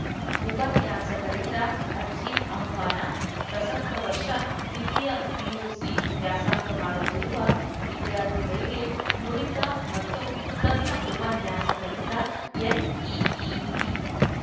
ಉಪನ್ಯಾಸಕರಿಂದ ಅರ್ಜಿ ಆಹ್ವಾನ ಪ್ರಸಕ್ತ ವರ್ಷ ದ್ವಿತೀಯ ಪಿಯುಸಿ ವ್ಯಾಸಂಗ ಮಾಡುತ್ತಿರುವ ವಿದ್ಯಾರ್ಥಿಗಳಿಗೆ ನುರಿತ ಮತ್ತು ತಜ್ಞ ಉಪನ್ಯಾಸಕರಿಂದ ಎನ್‌ಇಇಟಿ